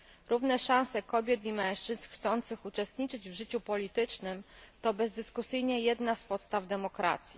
Równe szanse kobiet i mężczyzn chcących uczestniczyć w życiu politycznym to bezdyskusyjnie jedna z podstaw demokracji.